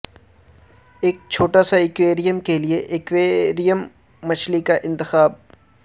ایک چھوٹا سا ایکویریم کے لئے ایکویریم مچھلی کا انتخاب